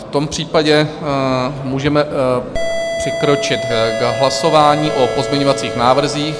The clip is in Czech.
V tom případě můžeme přikročit k hlasování o pozměňovacích návrzích.